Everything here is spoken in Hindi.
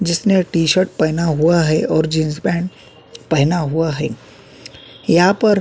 जिसने टी-शर्ट पहना हुआ है और जींस पैंट पहना हुआ है यहां पर।